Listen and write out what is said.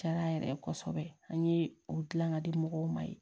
Diyara a yɛrɛ ye kosɛbɛ an ye o dilan ka di mɔgɔw ma yen